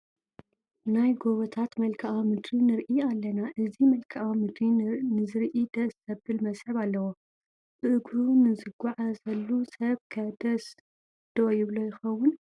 ናይ ጐቦታት መልክአ ምድሪ ንርኢ ኣለና፡፡ እዚ መልክአ ምድሪ ንዝርኢ ደስ ዘብል መስሕብ ኣለዎ፡፡ ብእግሩ ንዝጓዘሉ ሰብ ከ ደስ ዶ ይብሎ ይኸውን?